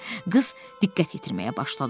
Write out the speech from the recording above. Qız diqqət yetirməyə başladı.